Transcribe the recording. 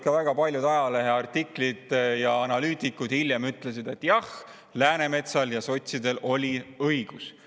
Ka väga paljud ajaleheartiklid ja analüütikud hiljem ütlesid, et jah, Läänemetsal ja sotsidel oli õigus.